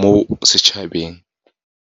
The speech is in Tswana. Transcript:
mo setšhabeng.